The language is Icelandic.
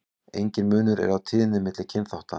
Enginn munur er á tíðni milli kynþátta.